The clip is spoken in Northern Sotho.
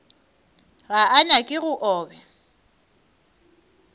ga a nyake go obja